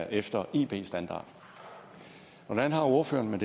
efter ib standard hvordan har ordføreren det